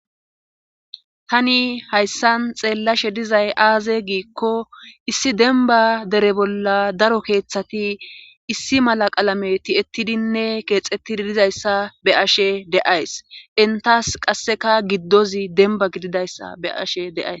Tani hayssan xeellashe dizay aaze giikko issi denba dere bolla daro keeththati issi mala qalame ti'ettidinne keexettidi dizayssa be ashe deays intas qasseka giddozi denba gididayssa be ashe deays.